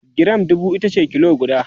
giram dubu itace kilo guda